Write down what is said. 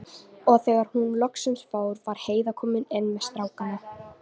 Og þegar hún loksins fór var Heiða komin inn með strákana.